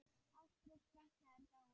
Ástrós frænka er dáin.